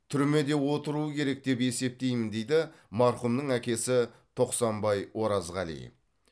түрмеде отыру керек деп есептеймін дейді марқұмның әкесі тоқсанбай оразғали